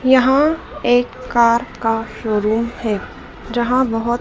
यहां एक कार का शोरूम है जहां बहोत--